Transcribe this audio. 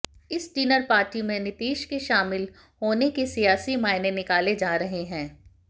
इस dinner party में नीतीश के शामिल होने के सियासी मायने निकाले जा रहे हैं